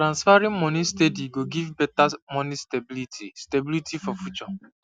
transferring moni steady go give better money stability stability for future